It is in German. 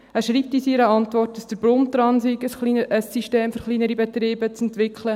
Er schreibt in seiner Antwort, dass der Bund daran sei, ein System für kleinere Betriebe zu entwickeln.